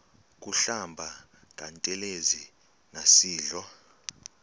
kuhlamba ngantelezi nasidlo